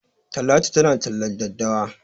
Talatu tana tallar daddawa.